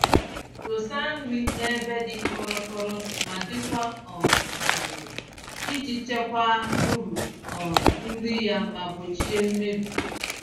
Dosa nri n'ebe dị kọrọ-kọrọ ma dịkwa um jụụ, iji chekwaa uru um nri ya ma gbochie mmebi.